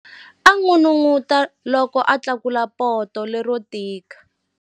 A n'unun'uta loko a tlakula poto lero tika.